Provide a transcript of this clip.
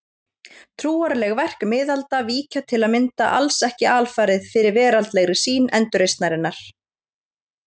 Trúarleg verk miðalda víkja til að mynda alls ekki alfarið fyrir veraldlegri sýn endurreisnarinnar.